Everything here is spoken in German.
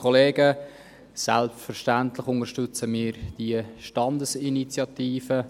Selbstverständlich unterstützen wir die Standesinitiative.